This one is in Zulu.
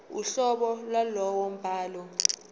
uhlobo lwalowo mbhalo